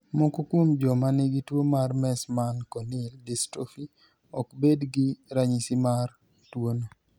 Moko kuom joma nigi tuo mar Meesman corneal dystrophy ok bed gi ranyisi mar tuwono.